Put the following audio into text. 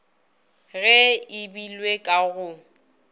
ge e beilwe ka go